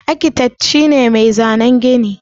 Akitet shi ne mai zanan gini.